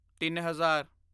ਤਿੱਨ ਹਜ਼ਾਰ